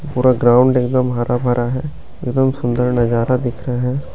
पूरा ग्राउंड एकदम हरा-भरा है एकदम सुंदर नजारा दिख रहा है।